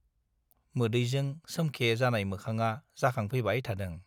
मोदैजों सोमखे जानाय मोखांआ जाखांफैबाय थादों।